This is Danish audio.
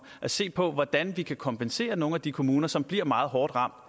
at se på hvordan vi kan kompensere nogle af de kommuner som bliver meget hårdt ramt